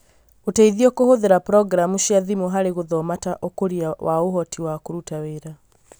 Ũteithio kũhũthĩra Programu cia thimu harĩ gũthoma ta ũkũria wa ũhoti wa kũruta wĩra